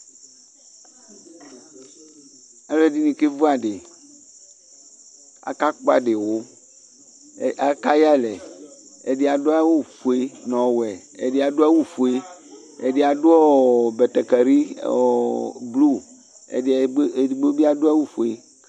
ɑluɛdini kɛvuɑdi ɑkɑkpoadiwu ɑkɑyɛɑlɛ ɛdia duɑwu fuɛ nɔwɛ ɛdiɑduɑwu õfuɛ ɛdiadu bɛtɛkɛli ɔo blu ɛdigbobia duawu fuɛ